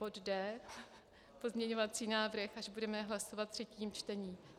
Bod D, pozměňovací návrh, až budeme hlasovat ve třetím čtení.